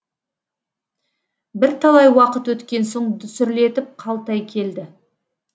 бірталай уақыт өткен соң дүсірлетіп қалтай келді